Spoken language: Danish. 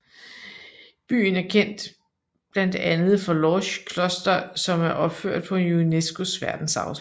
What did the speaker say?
Byen er kendt blandt andet for Lorsch Kloster som er opført på UNESCOs verdensarvsliste